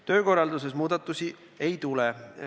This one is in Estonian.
Töökorralduses muudatusi ei tule.